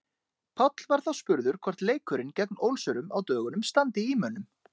Páll var þá spurður hvort leikurinn gegn Ólsurum á dögunum standi í mönnum.